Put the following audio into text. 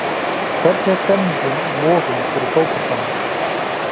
Hvernig er stemningin í Vogum fyrir fótboltanum?